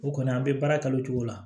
O kɔni an bɛ baara kanu cogo la